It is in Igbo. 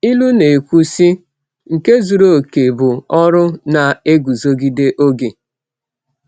Ilu na-ekwu, sị: “Nke zuru oke bụ ọrụ na-eguzogide oge.”